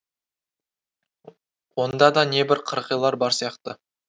онда да небір қырғилар бар сияқты